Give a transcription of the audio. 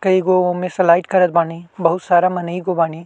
त एगो ओमें स्लाइड करत बानी। बहुत सारा मनई गो बानी।